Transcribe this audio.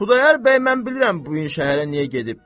Xudayar bəy mən bilirəm bu gün şəhərə niyə gedib.